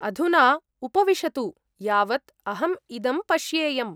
अधुना उपविशतु यावत् अहम् इदं पश्येयम्।